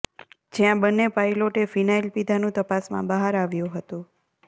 જ્યાં બન્ને પાયલોટે ફિનાઈલ પીધાનું તપાસમાં બહાર આવ્યું હતું